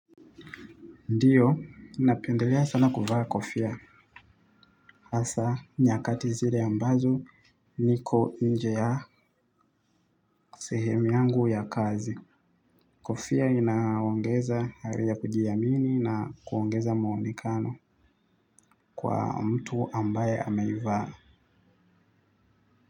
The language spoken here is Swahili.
Ndiyo, napendelea sana kuvaa kofia. Hasa, nyakati zile ambazo niko nje ya sehemu yangu ya kazi. Kofia inaongeza hari ya kujiamini na kuongeza muonekano kwa mtu ambaye ameivaa.